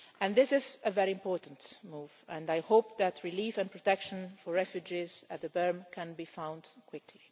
This is a very important move, and I hope that relief and protection for refugees at the Berm can be found quickly.